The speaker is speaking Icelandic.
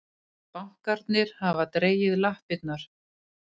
Bankarnir hafa dregið lappirnar